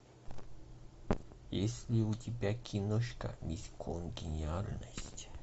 есть ли у тебя киношка мисс конгениальность